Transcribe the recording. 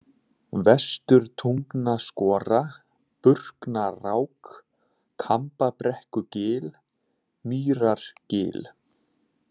Vesturtungnaskora, Burknarák, Kambabrekkugil, Mýrargil